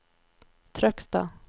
Trøgstad